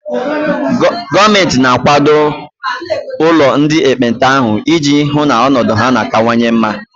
Gọọmenti na akwado ụlọ ndị ekpenta ahụ ị ji hụ na ọnọdụ ha na kanwanye mma